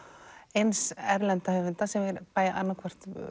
eins erlenda höfunda sem við